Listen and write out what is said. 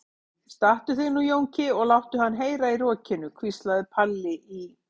Stattu þig nú Jónki og láttu hann heyra í rokinu, hvíslaði Palli í